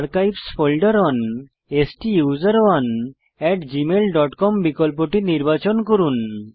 archives folder on স্টুসেরনে at gmailকম বিকল্পটি নির্বাচন করুন